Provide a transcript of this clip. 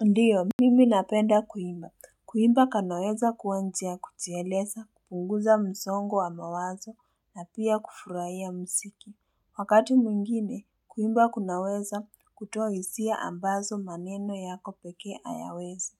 Ndiyo, mimi napenda kuimba. Kuimba kanaweza kuwa njia ya kujieleza, kupunguza msongo wa mawazo, na pia kufurahia mziki. Wakati mwingine, kuimba kunaweza kutoa hisia ambazo maneno yako pekee hayawezi.